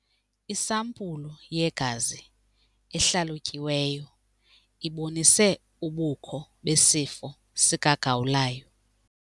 Isampulu yegazi ehlalutyiweyo ibonise ubukho besifo sikagawulayo.